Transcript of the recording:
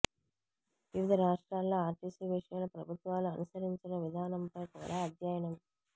వివిధ రాష్ట్రాల్లో ఆర్టిసి విషయంలో ప్రభుత్వాలు అనుసరించిన విధానంపై కూడా అధ్యయనం